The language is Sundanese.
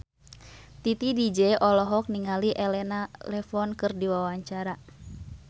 Titi DJ olohok ningali Elena Levon keur diwawancara